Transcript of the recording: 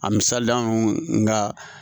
A misali ronka